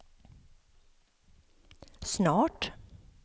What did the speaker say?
snart